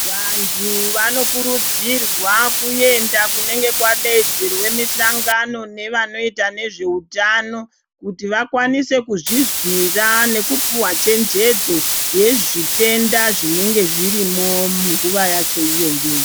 Vantu vanokurudzirwa kuenda kunenge kwadaidzirwa mihlangano nevanoita nezveutano kuti vakwanise kuzvizwira nekupihwa chenjedzo yezvitenda zvinenge zvirimwo munguwa yacho iyoyo.